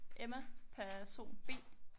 Emma person B